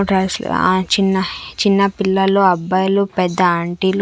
ఆ చిన్న హే చిన్న పిల్లలు అబ్బాయిలు పెద్ద ఆంటీలు .